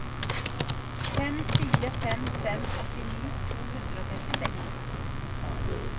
fem fire fem fem åttini to hundre og trettiseks